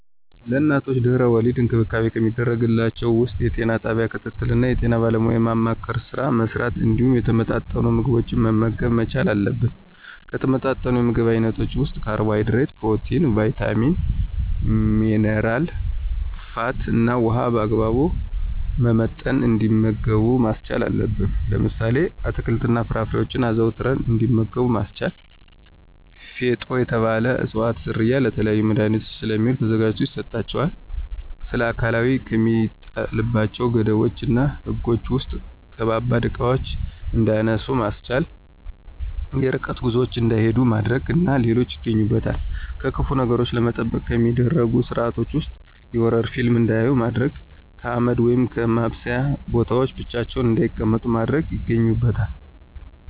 ለእናቶች ድህና-ወሊድ እንክብካቤ ከሚደረግላቸው ውስጥ የጤና ጣቢያ ክትትል እና የጤና ባለሙያዎችን የማማከር ስራ መሥራት እንዲሁም የተመጣጠኑ ምግቦችን መመገብ መቻል አለብን። ከተመጣጠኑ የምግብ አይነቶች ውስጥ ካርቦሀይድሬት፣ ፕሮቲን፣ ቭይታሚን፣ ሜነራ፣ ፋት እና ውሀን በአግባቡ በመመጠን እንዲመገቡ ማስቻል አለብን። ለምሳሌ፦ አትክልት እና ፍራፍሬዎችን አዘውትረው እንዲመገቡ ማስቻል። ፊጦ የተባለ እፅዋት ዝርያ ለተለያዩ መድሀኒቶች ስለሚውል ተዘጋጅቶ ይሰጣቸዋል። ስለአካላዊ ከሚጣልባቸው ገደቦች እና ህጎች ውስጥ ከባባድ እቃዎችን እንዳያነሱ ማስቻል፣ የርቀት ጉዞዎችን እንዳይሂዱ ማድረግ እና ሌሎች ይገኙበታል። ከክፉ ነገሮች ለመጠበቅ ከሚደረጉ ስርአቶች ውስጥ የሆረር ፊልም እንዳያዩ ማድረግ፣ ከአመድ ወይም ከማብሰያ ቦታዎች ብቻቸውን እንዳይቀመጡ ማድረግ ይገኙበታል።